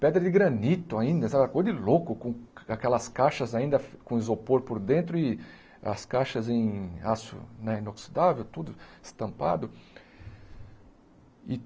pedra de granito ainda, sabe uma coisa de louco, com aquelas caixas ainda com isopor por dentro e as caixas em aço né inoxidável, tudo estampado.